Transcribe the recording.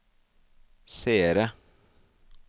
seere